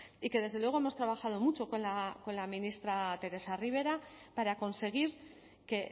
y que desde luego hemos trabajado mucho con la ministra teresa rivera para conseguir que